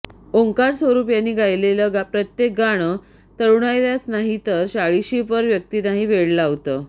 ओंकारस्वरूप यांनी गायलेलं प्रत्येक गाणं तरुणाईलाच नाहीतर चाळिशीपर व्यक्तींनाही वेड लावतं